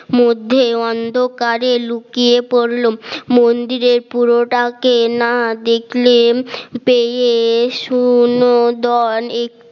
মধ্যে অন্ধকারে লুকিয়ে পড়ল মন্দিরের পুরোটাকে না দেখলে পেয়ে শোন দোন এক